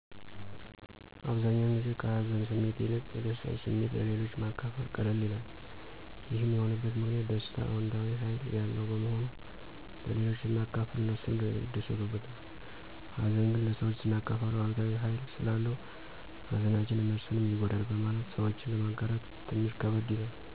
አብዛኛውን ጊዜ ከ ሀዘን ስሜት ይልቅ የደስታን ስሜት ለሌሎች ማካፈል ቀለል ይላል። ይህም የሆነበት ምክንያት ደስታ አዎንታዊ ኃይል ያለው በመሆኑ ለሌሎች ስናካፍል እነሱም ይደሰቱበታል። ሀዘን ግን ለሰወች ስናካፍል አሉታዊ ሀይል ስላለው ሀዘናችንን እነሱንም ይጎዳል በማለት ሰወችን ለማጋራት ትንሽ ከበድ ይላል።